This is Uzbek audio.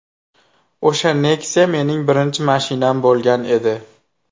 O‘sha Nexia mening birinchi mashinam bo‘lgan edi.